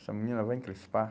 Essa menina vai encrespar.